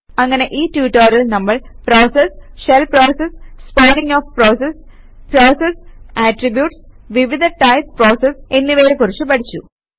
അങ്ങനെ ഈ ട്യൂട്ടോറിയലിൽ നമ്മൾ process shell process spawning of process process attributes വിവിധ ടൈപ് പ്രോസസസ് എന്നിവയെ കുറിച്ച് പഠിച്ചു